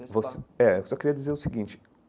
Você é, eu só queria dizer o seguinte.